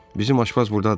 Bizim aşpaz burdadır.